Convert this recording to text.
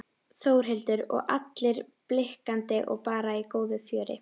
Þórhildur: Og allir blikkandi og bara í góðu fjöri?